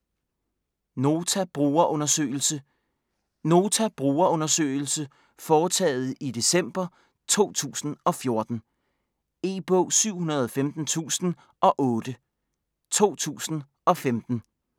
Nota brugerundersøgelse Nota brugerundersøgelse foretaget i december 2014. E-bog 715008 2015.